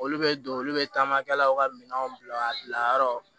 Olu bɛ don olu bɛ taamakɛlaw ka minɛnw bila yɔrɔ